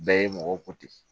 Bɛɛ ye mɔgɔw ko ten